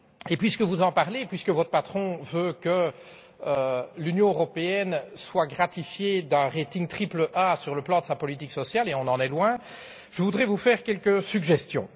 Puisque vous en parlez et que votre patron veut que l'Union européenne soit gratifiée d'un rating triple A pour sa politique sociale et on en est loin je voudrais faire quelques suggestions.